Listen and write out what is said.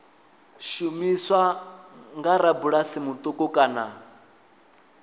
shumiswa nga rabulasi muṱuku kana